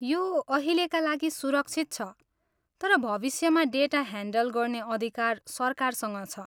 यो अहिलेका लागि सुरक्षित छ, तर भविष्यमा डेटा ह्यान्डल गर्ने अधिकार सरकारसँग छ।